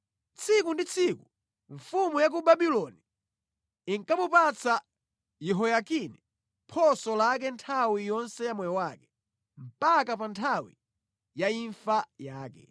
Tsiku ndi tsiku mfumu ya ku Babuloni inkamupatsa Yehoyakini phoso lake nthawi yonse ya moyo wake, mpaka pa nthawi ya imfa yake.